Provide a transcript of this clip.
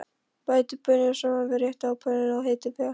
Bætið baununum saman við réttinn á pönnunni og hitið vel.